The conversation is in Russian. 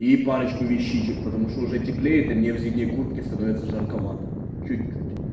и парочку вещичек потому что уже теплеет и мне в зимней куртке становится жарковато чуть-чуть